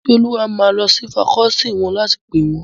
Ìmísíolúwa máa lọ sí fakọọti wọn láti pè wón